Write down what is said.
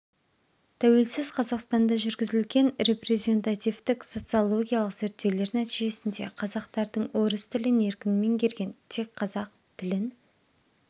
тәуелсіз қазақстанда жүргізілген репрезентативтік социологиялық зерттеулер нәтижесінде қазақтардың орыс тілін еркін меңгерген текқазақ тілін